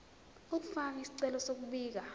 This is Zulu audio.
ukufaka isicelo sokubika